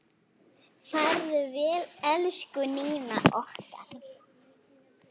Farðu vel, elsku Nína okkar.